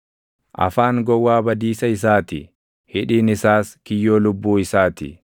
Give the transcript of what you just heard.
Afaan gowwaa badiisa isaa ti; hidhiin isaas kiyyoo lubbuu isaa ti.